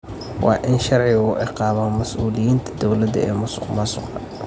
Waa in sharcigu ciqaabaa mas'uuliyiinta dawladda ee masuqmaasuqa.